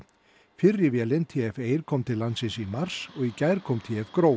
fyrri vélin t f kom til landsins í mars og í gær kom t f